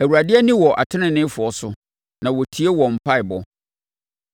Awurade ani wɔ ateneneefoɔ so na ɔtie wɔn mpaeɛbɔ;